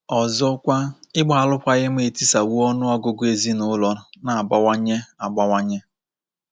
Ọzọkwa, ịgba alụkwaghịm etisawo ọnụ ọgụgụ ezinaụlọ na-abawanye abawanye.